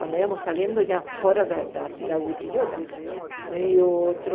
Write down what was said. Quando íamos saindo já fora da da cidade de Quijota, veio outro